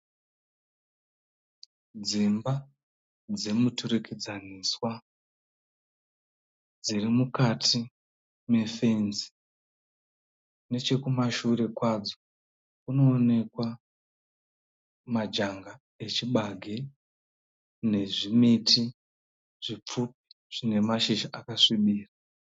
Dzimba dzemuturikidzaniswa dziri mukati mefenzi. Nechekumashure kwadzo kunoonekwa majanga echibage nezvimiti zvipfupi zvine mashizha akasvibira.